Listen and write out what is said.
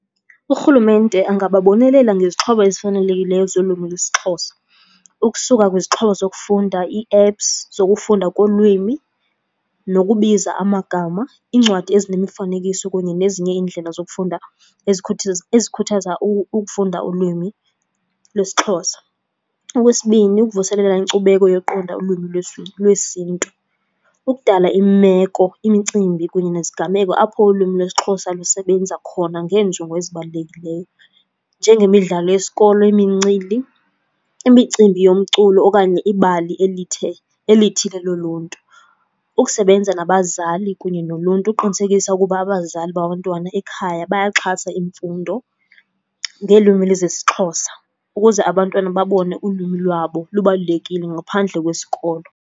Urhulumente angababonelela ngezixhobo ezifanelekileyo zolwimi lwesiXhosa. Ukusuka kwizixhobo zokufunda, ii-apps zokufunda kolwimi nokubiza amagama. Iincwadi ezinemifanekiso kunye nezinye iindlela zokufunda ezikhuthaza ukufunda ulwimi lwesiXhosa. Okwesibini, ukuvuselela inkcubeko yoqonda ulwimi lwesiNtu. Ukudala imeko, imicimbi kunye neziganeko apho ulwimi lwesiXhosa lusebenza khona ngeenjongo ezibalulekileyo. Njengemidlalo yesikolo, imincili, imicimbi yomculo okanye ibali elithile loluntu. Ukusebenza nabazali kunye noluntu uqinisekisa ukuba abazali babantwana ekhaya bayaxhasa imfundo ngelwimi lezesiXhosa. Ukuze abantwana babone ulwimi lwabo lubalulekile ngaphandle kwesikolo.